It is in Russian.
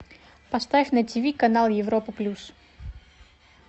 поставь на тв канал европа плюс